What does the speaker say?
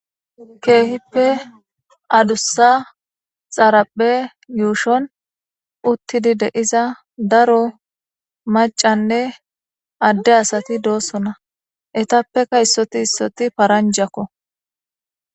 Keehippe adussa xaraphe yuushon uttidi deiza daro macanne adde asati doossona etappeka issoti issoti paranjakko